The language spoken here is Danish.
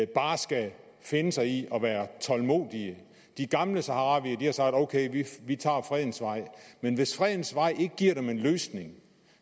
bare skal finde sig i at være tålmodige de gamle saharawier har sagt ok vi tager fredens vej men hvis fredens vej ikke giver dem en løsning